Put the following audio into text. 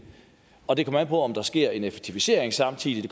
og det kommer an på om der sker en effektivisering samtidig